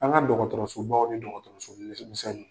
An ka dɔgɔtɔrɔsobaw ni dɔgɔtɔrɔsomisƐnninw